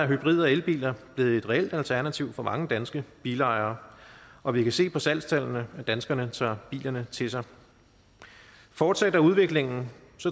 hybrid og elbiler blevet et reelt alternativ for mange danske bilejere og vi kan se på salgstallene at danskerne tager bilerne til sig fortsætter udviklingen